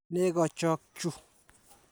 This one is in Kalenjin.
Nego chok chu.